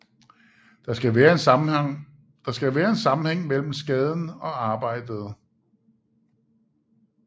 Der skal være en sammenhæng mellem skaden og arbejdet